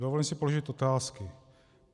Dovolím si položit otázky.